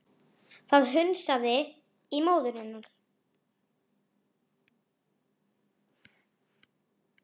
Það hnussaði í móður hennar